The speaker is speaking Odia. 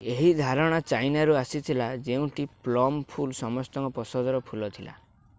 ଏହି ଧାରଣା ଚାଇନାରୁ ଆସିଥିଲା ଯେଉଁଠି ପ୍ଲମ ଫୁଲ ସମସ୍ତଙ୍କ ପସନ୍ଦର ଫୁଲ ଥିଲା